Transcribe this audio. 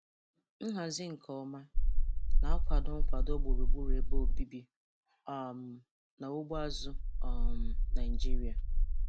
Nhazi nke ọma na-akwado nkwado gburugburu ebe obibi um na ugbo azụ̀ um Naịjiria.